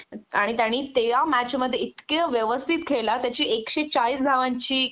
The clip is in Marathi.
आणि तेया मॅचमध्ये इतकं व्यवस्थित खेळला त्याची एकशे चाळीस धावांची